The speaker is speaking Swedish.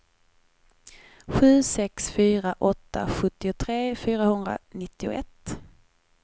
sju sex fyra åtta sjuttiotre fyrahundranittioett